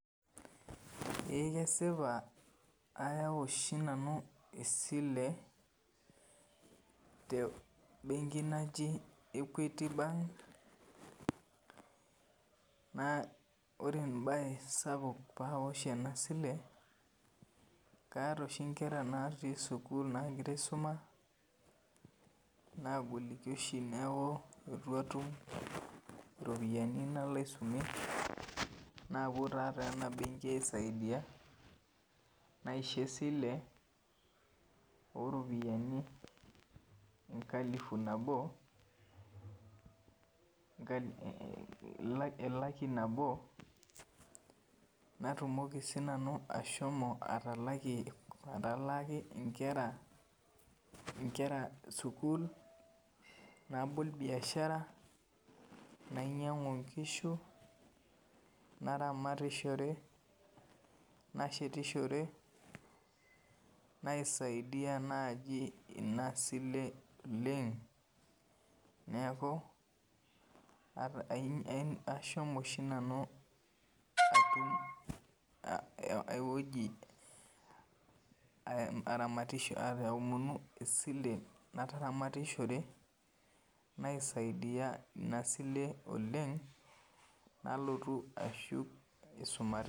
Eh kesipa aawa oshi nanu esile te benki naji equity bank naa ore mbae sapuk paawa oshi ena sile kaata oshi inkera naatii sukuul nagira aisuma nagoliki oshi niaku eitu atum iropiani nalo aisumie naaku taa ena benki aisaidia naisho esile oropiani enkalifu nabo elaki nabo natumoki siinanu ashomo atalakie atalaaki ingera sukuul nabol biashara nainyangu ingishu naramatishore nashetishore naisaidia naajibina sile oleng niaku asham oshi nanu aioji aramatisho aomonu esile nataramatishore naisaidia inasile oleng nalotu ashuk